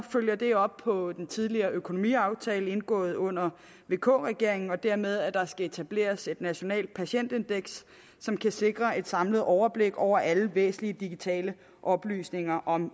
følger det op på den tidligere økonomiaftale indgået under vk regeringen og dermed at der skal etableres et nationalt patientindeks som kan sikre et samlet overblik over alle væsentlige digitale oplysninger om